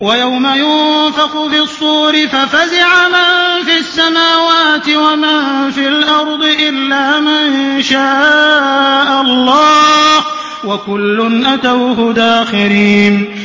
وَيَوْمَ يُنفَخُ فِي الصُّورِ فَفَزِعَ مَن فِي السَّمَاوَاتِ وَمَن فِي الْأَرْضِ إِلَّا مَن شَاءَ اللَّهُ ۚ وَكُلٌّ أَتَوْهُ دَاخِرِينَ